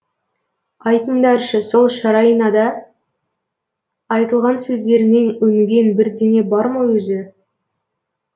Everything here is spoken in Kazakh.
айтыңдаршы сол шарайнада айтылған сөздеріңнен өнген бірдеңе бар ма өзі